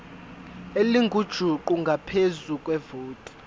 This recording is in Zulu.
elingujuqu ngaphezu kwevoti